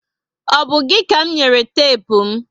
O bu gị ka m nyere tepu m?